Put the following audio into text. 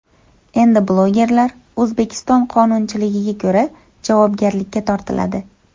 Endi blogerlar O‘zbekiston qonunchiligiga ko‘ra javobgarlikka tortiladi.